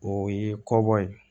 O ye kɔ bɔ ye